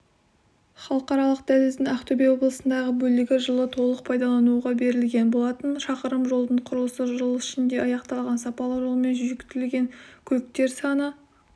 халықаралық дәліздің ақтөбе облысындағы бөлігі жылы толық пайдалануға берілген болатын шақырым жолдың құрылысы жыл ішінде аяқталған сапалы жолмен жүйіткіген көліктер саны